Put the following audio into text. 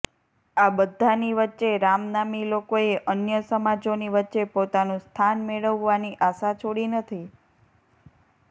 આ બધાની વચ્ચે રામનામી લોકોએ અન્ય સમાજોની વચ્ચે પોતાનું સ્થાન મેળવવાની આશા છોડી નથી